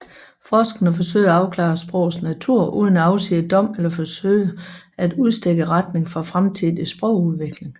Forskerne forsøger at afklare sprogets natur uden at afsige dom eller forsøge at udstikke retninger for fremtidig sprogudvikling